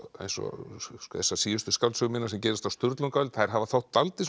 eins og þessar síðustu skáldsögur mínar sem gerast á Sturlunguöld þær hafa þótt dálítið